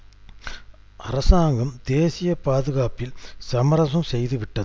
நூற்று கணக்கான கொலைகள் மற்றும் கடத்தல்கள் தொடர்பாக